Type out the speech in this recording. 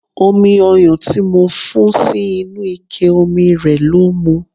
Omi ọyan tí mo fún sí inú ike omi rẹ ló mu.